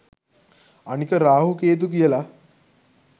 අනික රාහු කේතු කියලා